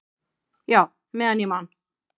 """Já, meðan ég man."""